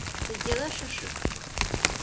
ты делаешь ошибки